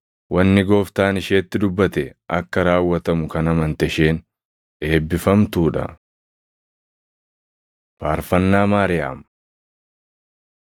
Wanni Gooftaan isheetti dubbate akka raawwatamu kan amante isheen eebbifamtuu dha!” Faarfannaa Maariyaam